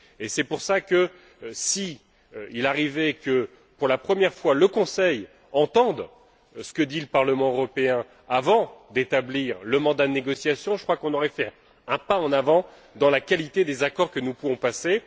C'est pour cela que, s'il arrive que, pour la première fois, le Conseil entende ce que dit le Parlement européen avant d'établir le mandat de négociation, je crois qu'on ferait un pas en avant dans la qualité des accords que nous pouvons passer.